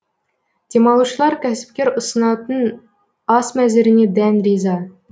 демалушылар кәсіпкер ұсынатын ас мәзіріне дән риза